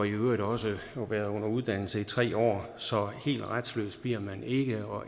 i øvrigt også har været under uddannelse i tre år så helt retsløs bliver man ikke